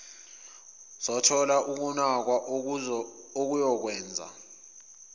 zothola ukunakwa okuyokwenza